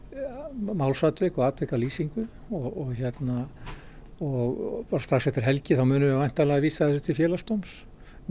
málsatvik og atvikalýsingu og og strax eftir helgi munum við væntanlega vísa þessu til Félagsdóms